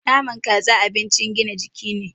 Naman Kaza abincin gina jiki ne